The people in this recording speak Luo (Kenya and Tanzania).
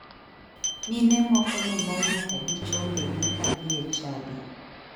Mine moko ne mol nyaka gi chongegi kadhie e chadi.